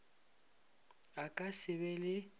a ka se be le